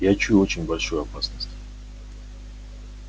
я чую очень большую опасность